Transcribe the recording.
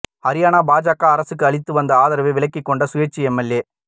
ஹரியாணா பாஜக அரசுக்கு அளித்து வந்த ஆதரவை விலக்கிக் கொண்ட சுயேச்சை எம்எல்ஏ